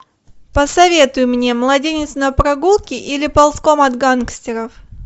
посоветуй мне младенец на прогулке или ползком от гангстеров